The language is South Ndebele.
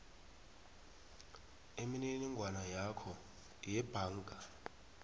imininingwana yakho yebhanga